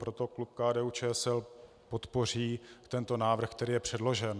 Proto klub KDU-ČSL podpoří tento návrh, který je předložen.